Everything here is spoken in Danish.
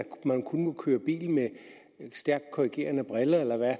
man kun må køre bil med stærkt korrigerende briller eller hvad